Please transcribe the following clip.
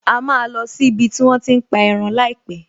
A máa lọ sí ibi tí wón ti ń pa ẹran láìpẹ̀